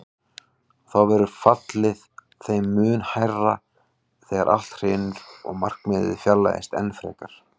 Og þá verður fallið þeim mun hærra þegar allt hrynur og markmiðið fjarlægist enn frekar.